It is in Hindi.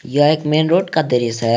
यह एक मेन रोड का दृश्य है।